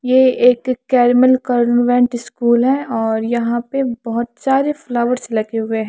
ये एक Carmel convent school है और यहाँ पर बोहोत सारे फ्लावर्स लगे हुए है।